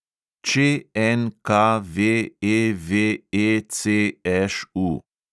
ČNKVEVECŠU